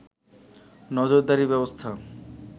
নজরদারির ব্যবস্থা